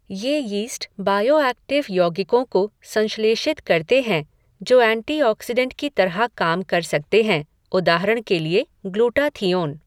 ये yeast bioactive यौगिकों को संश्लेषित करते हैं जो ऐंटीऑक्सिडंट की तरह काम कर सकते हैं, उदाहरण के लिए ग्लूटाथिओन।